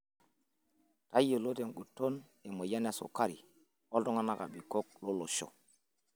Tayiolo tenguton emoyian esukari oltungana abikok loosho.